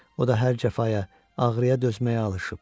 O da hər cəfaya, ağrıya dözməyə alışıb.